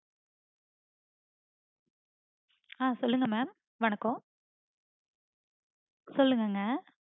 ஆஹ் சொல்லுங்க mam வணக்கம். சொல்லுங்கங்க